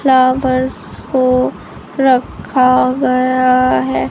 Flowers को रखा गया है।